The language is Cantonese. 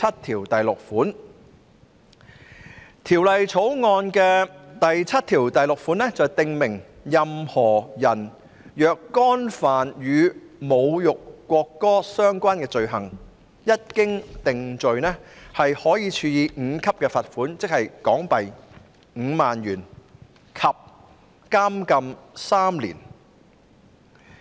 《條例草案》第76條訂明任何人若干犯與侮辱國歌相關的罪行，一經定罪，可處第5級罰款，即5萬港元，以及監禁3年。